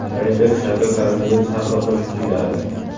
Reper Shaka koronavirus haqida qo‘shiq kuyladi .